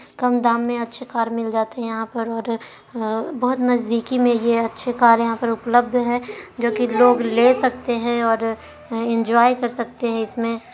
कम दाम मे अच्छे कार मिल जाते हैऔर पर और बहुत नजदीकी मे यह अच्छे कारें यहाँ पर उपलब्ध है और जो की लोग ले सकते है और इन्जॉय कर सकते है इसमें।